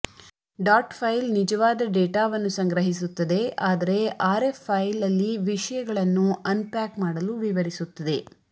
dot file ನಿಜವಾದ ಡೇಟಾವನ್ನು ಸಂಗ್ರಹಿಸುತ್ತದೆ ಆದರೆ ಆರ್ಎಎಫ್ ಫೈಲ್ ಅಲ್ಲಿ ವಿಷಯಗಳನ್ನು ಅನ್ಪ್ಯಾಕ್ ಮಾಡಲು ವಿವರಿಸುತ್ತದೆ